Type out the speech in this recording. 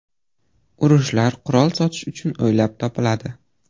Urushlar qurol sotish uchun o‘ylab topiladi.